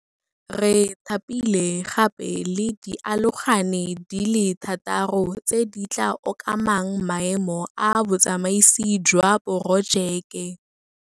Re thapile gape le dialogane di le thataro tse di tla okamang maemo a Botsamaisi jwa Porojeke.